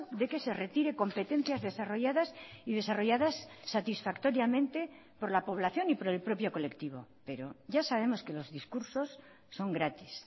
de que se retire competencias desarrolladas y desarrolladas satisfactoriamente por la población y por el propio colectivo pero ya sabemos que los discursos son gratis